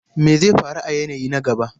Me zai faru a yanayi na gaba?